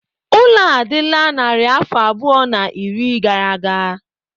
Ụlọ a adịla narị afọ abụọ na iri gara aga.